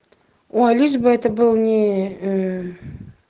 о лишь бы это был не